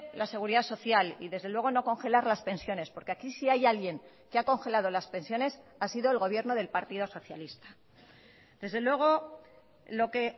la seguridad social y desde luego no congelar las pensiones porque aquí si hay alguien que ha congelado las pensiones ha sido el gobierno del partido socialista desde luego lo que